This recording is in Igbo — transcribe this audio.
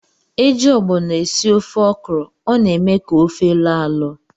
Eji ogbono esị ofe okra, ọ na- eme ka ofe loo alo.